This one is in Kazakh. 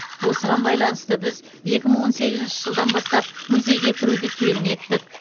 осыған байланысты біз екі мың он сегізінші жылдан бастап музейге кіруді тегін еттік